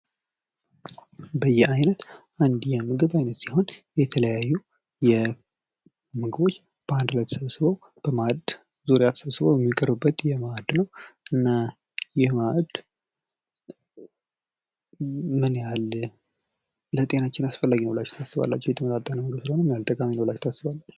በየአይነት አንድ የምግብ ዓይነት ሲሆን የተለያዩ ምግቦች በአንድ ላይ ተሰስበው በማዕድ ዙሪያ የመቀርብበት እና ይህ ማዕድ ን ለጤናችን ምን ያህል አስፈላጊ ነው ብላችሁ ታስባላችሁ? የተመጣጠነ ምግብ ስለሆነ ምን ያህል ይጠቅማል?